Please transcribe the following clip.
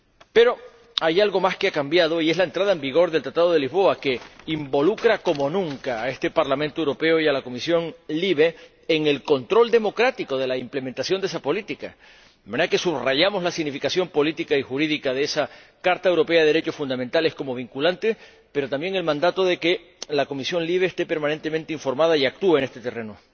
Pero hay algo más que ha cambiado, y es la entrada en vigor del Tratado de Lisboa, que involucra como nunca a este Parlamento Europeo y a la Comisión LIBE en el control democrático de la implementación de esa política, de manera que subrayamos la significación política y jurídica de la Carta de los Derechos Fundamentales de la Unión Europea como vinculante, pero también el mandato de que la Comisión LIBE esté permanentemente informada y actúe en este terreno.